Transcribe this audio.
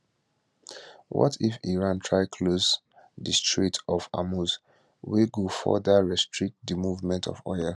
what if iran try to close di strait of hormuz wey go further restrict di movement of oil